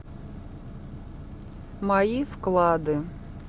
мои вклады